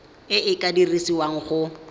e e ka dirisiwang go